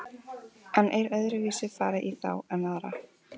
En er öðruvísi farið í þá en aðra?